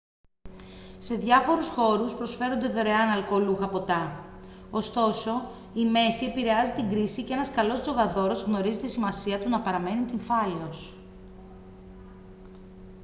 σε διάφορους χώρους προσφέρονται δωρεάν αλκοολούχα ποτά ωστόσο η μέθη επηρεάζει την κρίση και ένας καλός τζογαδόρος γνωρίζει τη σημασία του να παραμένει νηφάλιος